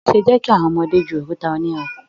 Má ṣe jẹ kí àwọn ọmọdé jù òkúta onírin!